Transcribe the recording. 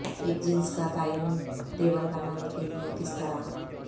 ایک جنس کا تعین ٹیبل بنانے کے لئے کس طرح